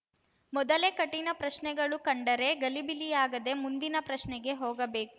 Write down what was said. ಮೊದಲೇ ಕಠಿಣ ಪ್ರಶ್ನೆಗಳು ಕಂಡರೆ ಗಲಿಬಿಲಿಯಾಗದೇ ಮುಂದಿನ ಪ್ರಶ್ನೆಗೆ ಹೋಗಬೇ